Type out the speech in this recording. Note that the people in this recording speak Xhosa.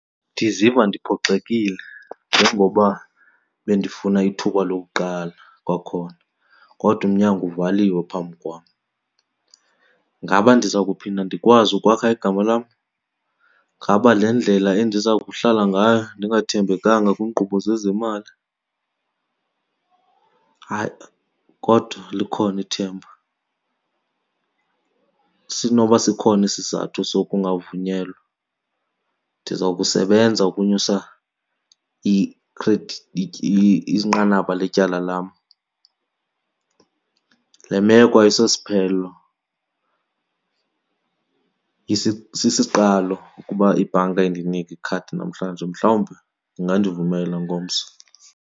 Ndiziva ndiphoxekile njengoba bendifuna ithuba lokuqala kwakhona kodwa umnyango uvaliwe phambi kwam. Ngaba ndiza kuphinda ndikwazi ukwakha igama lam? Ngaba le ndlela endiza kuhlala ngayo ndingathembekanga kwiinkqubo zezemali? Hayi, kodwa likhona ithemba. Sinoba sikhona isizathu sokungavunyelwa, ndiza kusebenza ukunyusa inqanaba letyala lam. Le meko ayisosiphelo, sisiqalo ukuba ibhanka indinike ikhadi namhlanje, mhlawumbi ingandivumela ngomso.